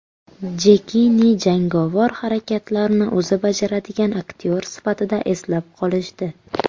Jekini jangovar harakatlarni o‘zi bajaradigan aktyor sifatida eslab qolishdi.